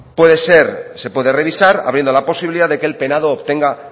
puede ser se puede revisar habiendo la posibilidad de que el penado obtenga